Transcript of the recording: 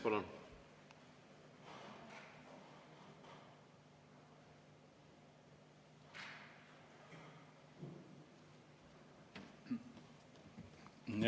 Palun!